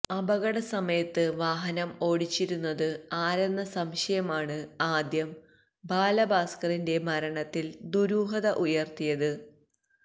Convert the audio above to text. അപകട സമയത്ത് വാഹനം ഓടിച്ചിരുന്നത് ആരെന്ന സംശയമാണ് ആദ്യം ബാലഭാസ്കറിന്റെ മരണത്തില് ദുരൂഹത ഉണര്ത്തിയത്